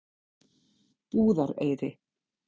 Búðareyri